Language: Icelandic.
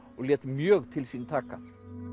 og lét mjög til sín taka